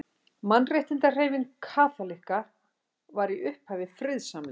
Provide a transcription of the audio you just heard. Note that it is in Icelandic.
Mannréttindahreyfing kaþólikka var í upphafi friðsamleg.